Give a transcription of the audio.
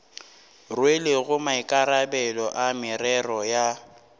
rwelego maikarabelo a merero ya